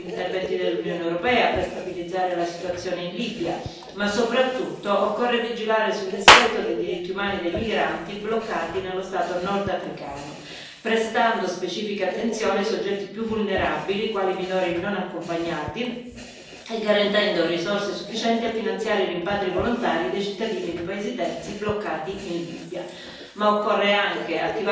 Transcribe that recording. Sono necessari ad esempio ulteriori interventi dell'Unione europea per stabilizzare la situazione in Libia ma, soprattutto, occorre vigilare sul rispetto dei diritti umani dei migranti bloccati nello stato nordafricano, prestando specifica attenzione ai soggetti più vulnerabili, quali i minori non accompagnati, e garantendo risorse sufficienti a finanziare i rimpatri volontari dei cittadini di paesi terzi bloccati in Libia.